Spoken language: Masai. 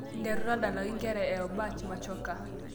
nteru tadalayu nkera e obach machoka